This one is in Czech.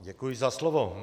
Děkuji za slovo.